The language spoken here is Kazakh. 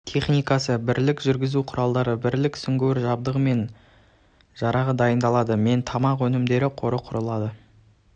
техникасы бірлік жүзу құралы бірлік сүңгуір жабдығы мен жарағы дайындалды мен тамақ өнімдері қоры құрылды